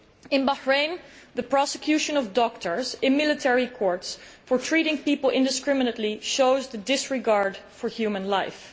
In Bahrain, the prosecution of doctors in military courts for treating people indiscriminately shows disregard for human life.